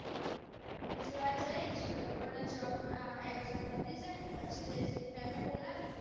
બીજી વાર જૈસ પણ jobexam પતિ જઈને પછી જૈસ મેમ એ બોલાવી હતી